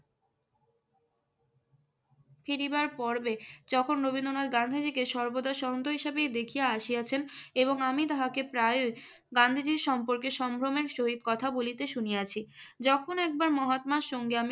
ফিরিবার পূর্বে যখন যখন রবীন্দ্রনাথ গান্ধীজিকে সর্বদা শন্ত হিসেবেই দেখিয়া আসিয়াছেন এবং আমি তাহাকে প্রায়ই গান্ধীজীর সম্পর্কে সম্ভ্রমের সহিত কথা বলিতে শুনিয়াছি। যখন একবার মহাত্মার সঙ্গে আমি